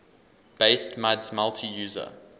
based muds multi user